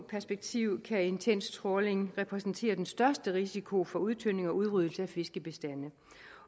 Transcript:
perspektiv kan intens trawling repræsentere den største risiko for udtynding og udryddelse af fiskebestande